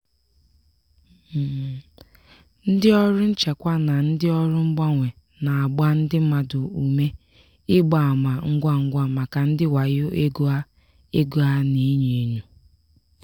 ndị ọrụ nchekwa na ndị ọrụ mgbanwe na-agba ndị mmadụ ume ịgba ama ngwa ngwa maka ndị wayo ego a ego a na-enyo enyo.